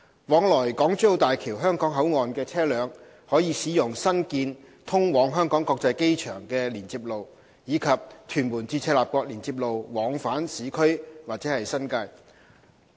往來港珠澳大橋香港口岸的車輛可使用新建通往香港國際機場的連接路，以及屯門至赤鱲角連接路往返市區或新界。